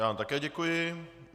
Já vám také děkuji.